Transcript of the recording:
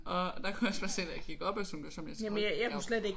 Og der kunne jeg også bare se da jeg gik op ad Sohngårdsholm jeg troede jeg